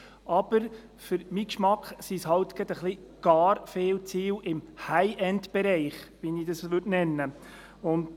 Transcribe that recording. Aber für meinen Geschmack sind es etwas gar viele Ziele im «High End-Bereich», wie ich diesen nennen würde.